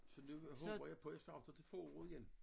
Så nu håber jeg på jeg starter til foråret igen